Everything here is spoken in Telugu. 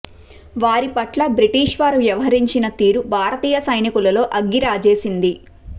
వారి పట్ల బ్రిటిష్ వారు వ్యవహరించిన తీరు భారతీయ సైనికులలో అగ్గి రాజేసింది